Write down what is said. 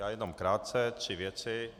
Já jenom krátce - tři věci.